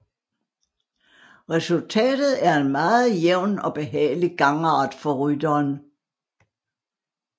Resultatet er en meget jævn og behagelig gangart for rytteren